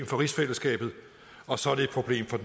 for rigsfællesskabet og så er det et problem for